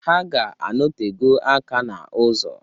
Ha ga-anotego aka n'ụzọ.